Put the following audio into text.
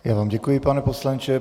Já vám děkuji, pane poslanče.